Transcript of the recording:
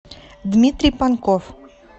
дмитрий панков